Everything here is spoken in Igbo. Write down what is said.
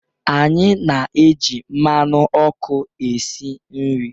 Anyị na-eji mmanụ ọkụ esi nri